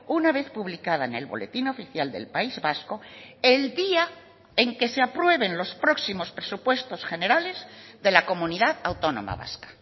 una vez publicada en el boletín oficial del país vasco el día en que se aprueben los próximos presupuestos generales de la comunidad autónoma vasca